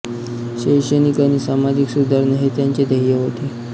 शैक्षणिक आणि सामाजिक सुधारणा हे त्यांचे ध्येय होते